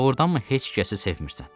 Doğurdanmı heç kəsi sevmirəm?